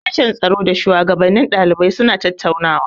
Sashen tsaro da shuwagabannin ɗalibai suna da tattaunawa.